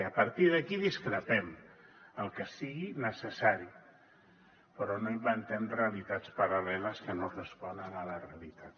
i a partir d’aquí discrepem el que sigui necessari però no inventem realitats paral·leles que no responen a la realitat